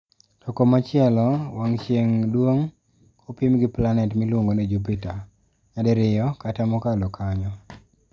To komachielo, wang' chieng' duong' kopim gi planet miluongo ni Jupiter, nyadiriyo kata mokalo kanyo.